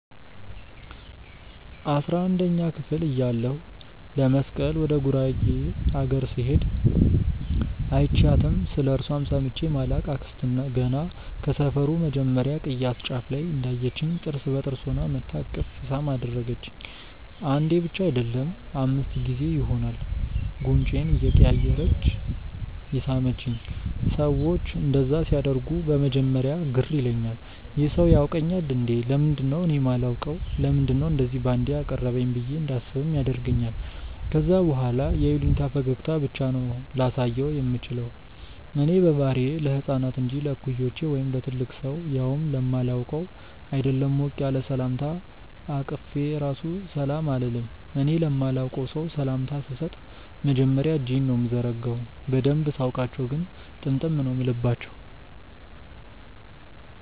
አስራንደኛ ክፍል እያለሁ ለመስቀል ወደ ጉራጌ አገር ስሄድ÷ አይችያትም ስለእርሷም ሰምቼ ማላቅ አክስት ገና ከሰፈሩ መጀመርያ ቅያስ ጫፍ ላይ እንዳየቺኝ ጥርስ በጥርስ ሆና መጥታ እቅፍ ሳም አደረገቺኝ። አንዴ ብቻ አይደለም÷ አምስት ጊዜ ይሆናል ጉንጬን እያቀያየረች የሳመቺኝ። ሰዎች እንደዛ ሲያደርጉ በመጀመርያ ግር ይለኛል- "ይህ ሰው ያውቀኛል እንዴ? ለምንድነው እኔ ማላውቀው? ለምንድነው እንደዚ ባንዴ ያቀረበኝ?" ብዬ እንዳስብም ያደርገኛል ከዛ በኋላ የይሉኝታ ፈገግታ ብቻ ነው ላሳየው ምችለው። እኔ በባህሪዬ ለህፃናት እንጂ ለእኩዮቼ ወይም ለትልቅ ሰው ያውም ለማላውቀው ÷ አይደለም ሞቅ ያለ ሰላምታ አቅፌ ራሱ ሰላም አልልም። እኔ ለማላቀው ሰው ሰላምታ ስሰጥ መጀመርያ እጄን ነው ምዘረጋው። በደንብ ሳውቃቸው ግን ጥምጥም ነው ምልባቸው።